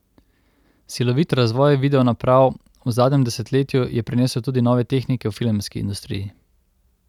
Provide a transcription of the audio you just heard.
Silovit razvoj video naprav v zadnjem desetletju je prinesel tudi nove tehnike v filmski industriji.